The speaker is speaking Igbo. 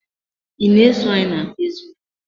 I na-eso anyị na fazebuk?